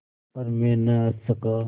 पर मैं न हँस सका